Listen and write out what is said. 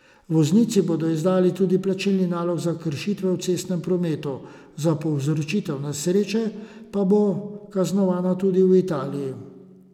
Voznici bodo izdali tudi plačilni nalog za kršitve v cestnem prometu, za povzročitev nesreče pa bo kaznovana tudi v Italiji.